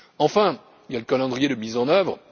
Enfin, il y a le calendrier de mise en œuvre.